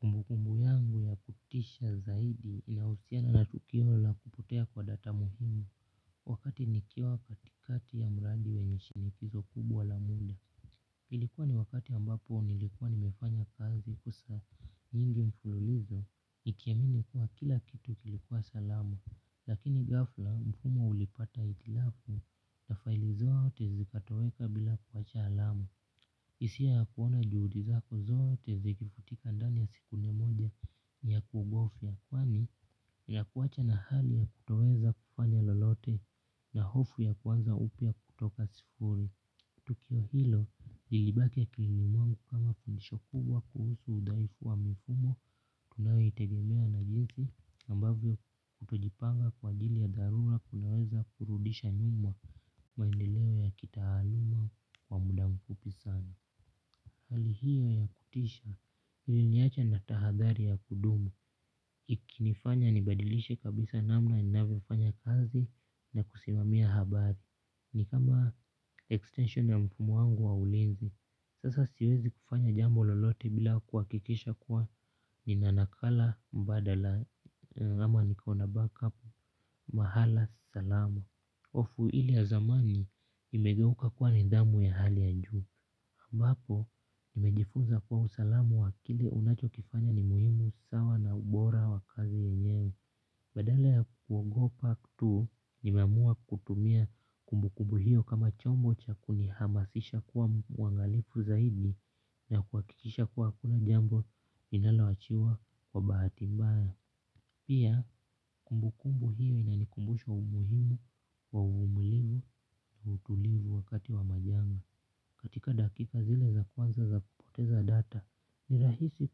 Kumbukumbu yangu ya kutisha zaidi inahusiana na tukio la kupotea kwa data muhimu. Wakati nikiwa katikati ya mradi wenye shinikizo kubwa la muda. Ilikuwa ni wakati ambapo nilikuwa nimefanya kazi kwa saa nyingi mfululizo. Nikiamini kuwa kila kitu kilikuwa salama. Lakini ghafla mfumo ulipata hitilafu na faili zoote zikatoweka bila kuwacha alama. Hisia ya kuona juhudi zako zote zikifutika ndani ya sekunde moja ni ya kuhofia kwani ya kuwachwa na hali ya kutoweza kufanya lolote na hofu ya kuanza upya kutoka sifuri. Tukio hilo, lilibaki akilini mwangu kama fundisho kubwa kuhusu udhaifu wa mifumo. Tunayo itegemea na jinsi ambavyo kutojipanga kwa ajili ya dharura kunaweza kurudisha nyuma maendeleo ya kitaaluma kwa muda mfupi sana. Hali hiyo ya kutisha iliniacha na tahadhari ya kudumu. Ikinifanya nibadilishe kabisa namna ninayofanya kazi, na kusimamia habari. Ni kama extension ya mfumo wangu wa ulenzi. Sasa siwezi kufanya jambo lolote bila kuhakikisha kua, nina nakala mbadala ama nikona 'backup' mahala salama. Hofu hili ya zamani imegeuka kuwa nidhamu ya hali ya njuu. Ambapo, nimejifunza kwa usalama wa kile unacho kifanya ni muhimu sawa na ubora wa kazi yenyewe. Badala ya kuogopa tu, nimeamua kutumia kumbu kumbu hiyo kama chombo cha kunihamasisha kuwa mwangalifu zaidi na kuhakikisha kuwa hakuna jambo linaloachiwa kwa bahati mbaya. Pia, kumbu kumbu hiyo inanikumbusha umuhimu wa umulivu na utulivu wakati wa majanga. Katika dakika zile za kwanza za kupoteza data, ni rahisi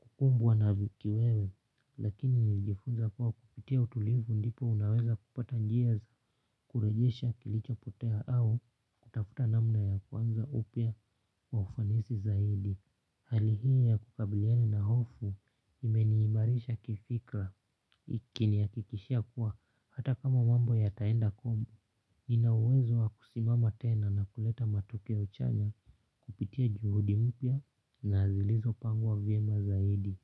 kukumbwa na kiwewe, lakini nilijifunza kuwa kupitia utulivu ndipo unaweza kupata njia za kurejesha kilicho potea au kutafuta namna ya kuanza upya kwa ufanisi zaidi. Hali hii ya kukabiliana na hofu, imeniimarisha kifikra ikinihakikishia kuwa hata kama mambo ya taenda kombo nina uwezo wa kusimama tena na kuleta matokeo chanya. Kupitia juhudi mupya na zilizo pangwa vyema zaidi.